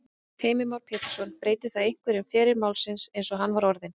Heimir Már Pétursson: Breytir það einhverju um feril málsins eins og hann var orðinn?